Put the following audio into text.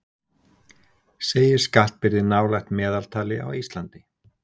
Segir skattbyrði nálægt meðaltali á Íslandi